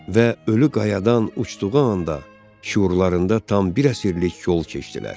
Və ölü qayadan uçduğu anda şüurlarında tam bir əsirlik yol keçdilər.